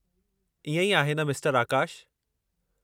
इएं ई आहे न, मिस्टरु आकाश?